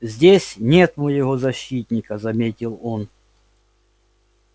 здесь нет моего защитника заметил он